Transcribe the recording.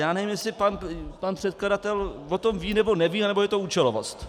Já nevím, jestli pan předkladatel o tom ví nebo neví, nebo je to účelovost.